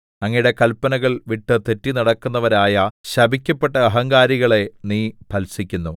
അങ്ങയുടെ കല്പനകൾ വിട്ട് തെറ്റി നടക്കുന്നവരായ ശപിക്കപ്പെട്ട അഹങ്കാരികളെ നീ ഭത്സിക്കുന്നു